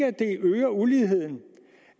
at det øger uligheden